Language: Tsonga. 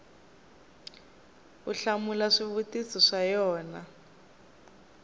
u hlamula swivutiso swa yona